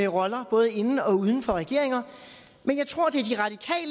roller både inden og uden for regeringer men jeg tror det